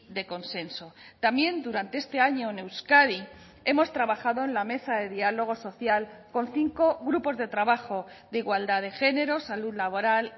de consenso también durante este año en euskadi hemos trabajado en la mesa de diálogo social con cinco grupos de trabajo de igualdad de género salud laboral